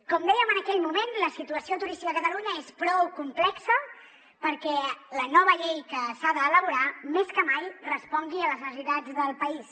com dèiem en aquell moment la situació turística a catalunya és prou complexa perquè la nova llei que s’ha d’elaborar més que mai respongui a les necessitats del país